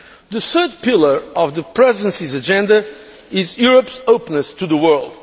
The third pillar of the Presidency's agenda is Europe's openness to the world.